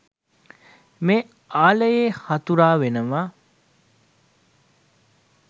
මේ ආලයේ හතුරා වෙනව..